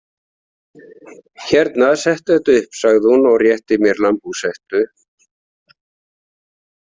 Hérna, settu þetta upp, sagði hún og rétti mér lambhúshettu. „